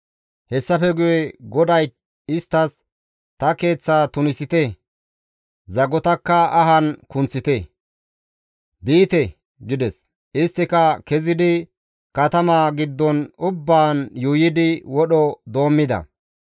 Hessafe guye GODAY isttas, «Ta keeththaa tunisite; zagotakka ahan kunththite; biite» gides; isttika kezidi katama giddon ubbaan yuuyidi wodho doommida.